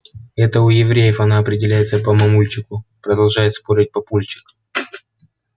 это у евреев она определяется по мамульчику продолжает спорить папульчик